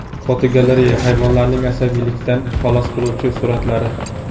Fotogalereya: Hayvonlarning asabiylikdan xalos qiluvchi suratlari.